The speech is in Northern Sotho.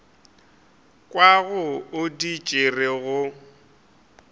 kwago o di tšere go